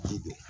Ji don